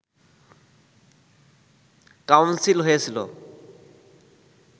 council হয়েছিল